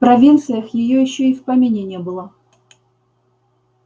в провинциях её ещё и в помине не было